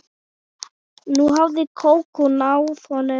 Nú hafði Kókó náð honum.